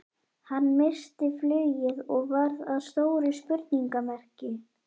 Hann missti flugið og varð að stóru spurningamerki.